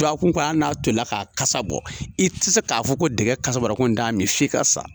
Duwakun kɔ ali n'a tolila k'a kasa bɔ i te se k'a fɔ ko dɛgɛ tolila k'a kasa ko n' t'a mi f'i ka sa